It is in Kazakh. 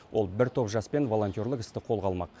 ол бір топ жаспен волонтерлік істі қолға алмақ